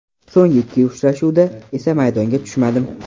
So‘ngi ikki uchrashuvda esa maydonga tushmadim.